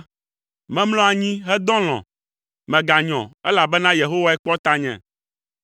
Memlɔ anyi hedɔ alɔ̃; meganyɔ, elabena Yehowae kpɔ tanye.